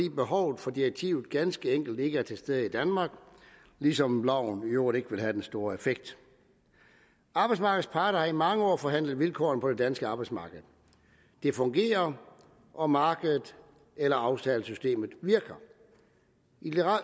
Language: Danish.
behovet for direktivet ganske enkelt ikke er til stede i danmark ligesom loven i øvrigt ikke ville have den store effekt arbejdsmarkedets parter har i mange år forhandlet vilkårene på det danske arbejdsmarked det fungerer og markedet eller aftalesystemet virker i